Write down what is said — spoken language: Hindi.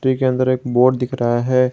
इसके अंदर एक बोर्ड दिख रहा है।